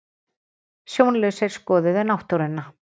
Sjónlausir skoðuðu náttúruna